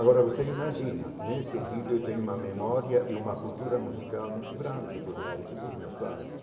Agora, você imagina, nesse sentido, eu tenho uma memória e uma cultura musical muito grande, por mérito dos meus pais.